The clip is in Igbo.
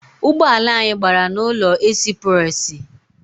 Ụgbọala anyị gbara n’ụzọ esipursi